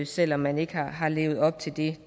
selv om man ikke har levet op til det